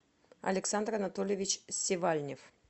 александр анатольевич севальнев